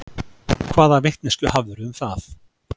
Hvaða vitneskju hafðirðu um það?